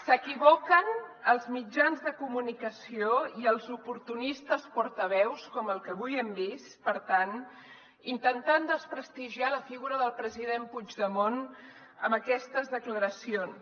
s’equivoquen els mitjans de comunicació i els oportunistes portaveus com el que avui hem vist per tant intentant desprestigiar la figura del president puigdemont amb aquestes declaracions